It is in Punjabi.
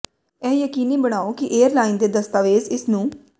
ਇਹ ਯਕੀਨੀ ਬਣਾਓ ਕਿ ਏਅਰਲਾਈਨ ਦੇ ਦਸਤਾਵੇਜ਼ ਇਸ ਨੂੰ